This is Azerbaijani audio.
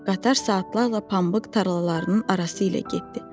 Qatar saatlarla pambıq tarlalarının arası ilə getdi.